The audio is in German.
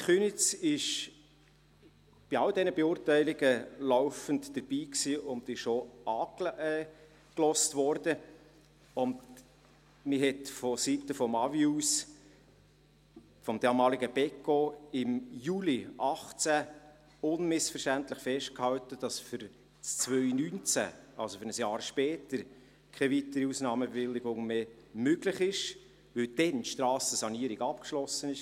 Die Gemeinde Köniz war bei all diesen Beurteilungen laufend dabei und wurde auch angehört, und man hat seitens AWI, dem damaligen Beco, im Juli 2018 unmissverständlich festgehalten, dass für 2019, also ein Jahr später, keine weitere Ausnahmebewilligung mehr möglich sei, weil dann die Strassensanierung abgeschlossen ist.